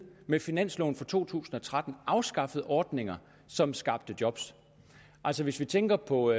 med finansloven for to tusind og tretten afskaffet ordninger som skabte job altså hvis vi tænker på